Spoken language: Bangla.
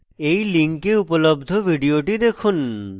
এই link উপলব্ধ video দেখুন